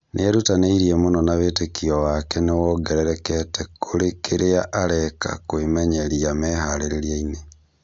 Nĩerutanĩirie mũno na wĩtĩkio wake nĩwongererekete kũrĩ kĩrĩa areka kwĩmenyeria meharĩria-inĩ